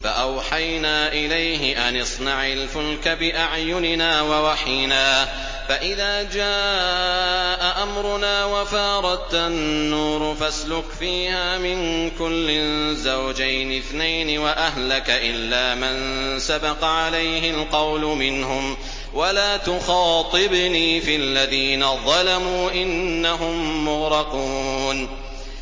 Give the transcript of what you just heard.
فَأَوْحَيْنَا إِلَيْهِ أَنِ اصْنَعِ الْفُلْكَ بِأَعْيُنِنَا وَوَحْيِنَا فَإِذَا جَاءَ أَمْرُنَا وَفَارَ التَّنُّورُ ۙ فَاسْلُكْ فِيهَا مِن كُلٍّ زَوْجَيْنِ اثْنَيْنِ وَأَهْلَكَ إِلَّا مَن سَبَقَ عَلَيْهِ الْقَوْلُ مِنْهُمْ ۖ وَلَا تُخَاطِبْنِي فِي الَّذِينَ ظَلَمُوا ۖ إِنَّهُم مُّغْرَقُونَ